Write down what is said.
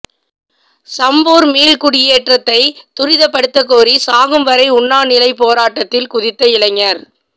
சம்பூர் மீள்குடியேற்றத்தை துரிதப்படுத்தக்கோரி சாகும் வரை உண்ணாநிலைப் போராட்டத்தில் குதித்த இளைஞர்